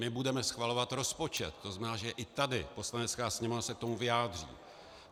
My budeme schvalovat rozpočet, to znamená, že i tady Poslanecká sněmovna se k tomu vyjádří.